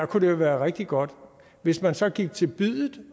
kunne det være rigtig godt hvis man så gik til biddet